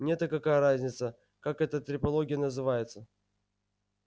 мне-то какая разница как эта трепология называется